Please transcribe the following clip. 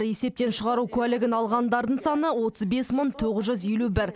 есептен шығару куәлігін алғандардың саны отыз бес мың тоғыз жүз елу бір